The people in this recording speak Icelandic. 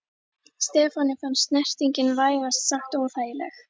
Stefáni fannst snertingin vægast sagt óþægileg.